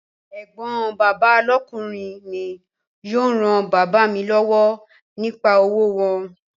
Ẹ̀gbọ́n bàbá lọ́kùnrin mi yóò ran bàbá mi lọ́wọ́ nípa òwò wọn